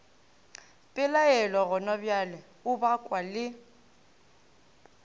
pelaelo gonabjale o bakwa le